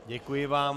Děkuji vám.